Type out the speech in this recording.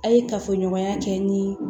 A' ye kafoɲɔgɔnya kɛ ni